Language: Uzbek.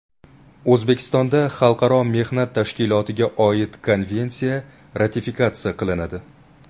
O‘zbekistonda Xalqaro mehnat tashkilotiga oid Konvensiya ratifikatsiya qilinadi.